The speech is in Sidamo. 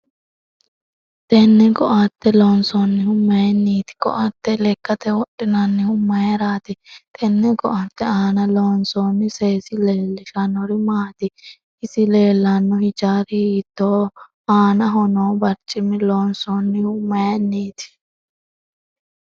Tenne ko'atte loonsoonihu mayiiniiti ko'atte lekkate wodhinannihu mayiirati tenne ko'atte aana loonsooni seesi leelishanori maati isi leelanno hijaari hiitooho aanaho noo barcima loonsoonihu mayiiniti